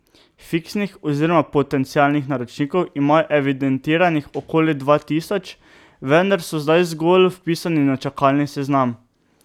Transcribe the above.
Fiksnih oziroma potencialnih naročnikov imajo evidentiranih okoli dva tisoč, vendar so zdaj zgolj vpisani na čakalni seznam.